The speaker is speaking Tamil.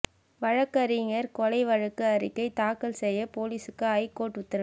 வழக்கறிஞர் கொலை வழக்கு அறிக்கை தாக்கல் செய்ய போலீசுக்கு ஐகோர்ட் உத்தரவு